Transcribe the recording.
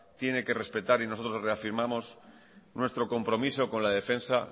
tiene que respetar y nosotros os reafirmamos nuestro compromiso con la defensa